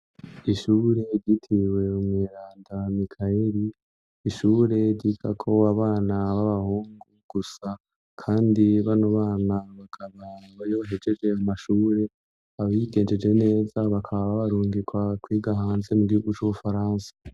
Ishure ryitiriwe mweranda mikayeri, ishure ryigako abana b'abahungu gusa kandi bano bana bakaba iyobahejeje amashure abigenjeje neza bakaba barungikwa kwiga hanze mugihugu c'ubufaransa.